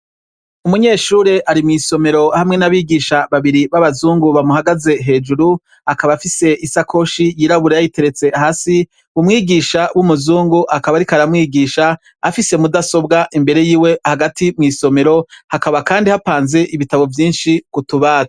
Umunyeshure ari mw'isomero hamwe n'abigisha babiri b'abazungu bamuhagaze hejuru. Akaba afise isakoshi yirabura yayiteretse hasi. Umwigisha w'umuzungu akaba ariko aramwigisha afise mudasobwa imbere yiwe hagati mw'isomero, hakaba kandi hapanze ibitabo vyinshi ku tubati.